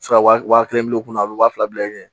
wa kelen bi kunna a be waa fila bila i kun